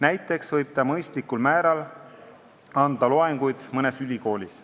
Näiteks võib ta mõistlikul määral anda loenguid mõnes ülikoolis.